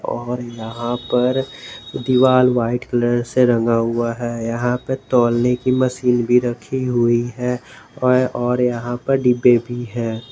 और यहां पर दीवाल व्हाइट कलर से रंगा हुआ है यहां पर तौलने की मशीन भी रखी हुई है और यहां पर डिब्बे भी है।